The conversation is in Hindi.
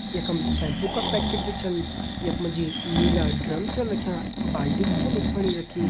यखम शैम्पू का पैकेट भी छन यख मा जी नीला ड्रम छन रख्यां बाल्टी भी छन यख फणी रखीं।